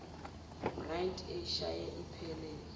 bryant eyishaye iphelele